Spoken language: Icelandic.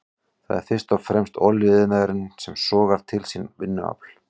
Það er fyrst og fremst olíuiðnaðurinn sem sogar til sín vinnuafl.